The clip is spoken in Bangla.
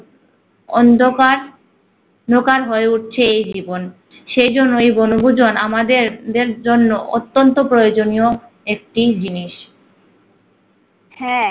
অন্ধকার ন্ধকার হয়ে উঠেছে এই জীবন সে জন্য এই বনভূজন আমাদের দের জন্য অত্যন্ত প্রয়োজনীয় একটি জিনিস হ্যা